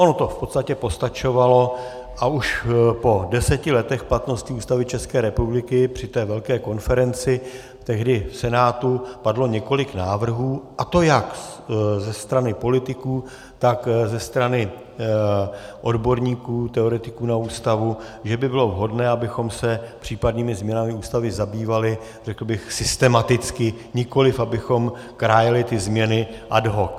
Ono to v podstatě postačovalo a už po deseti letech platnosti Ústavy České republiky při té velké konferenci tehdy v Senátu padlo několik návrhů, a to jak ze strany politiků, tak ze strany odborníků, teoretiků na Ústavu, že by bylo vhodné, abychom se případnými změnami Ústavy zabývali, řekl bych, systematicky, nikoliv abychom krájeli ty změny ad hoc.